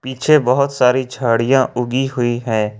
पीछे बहुत सारी झाड़ियां उगी हुई हैं।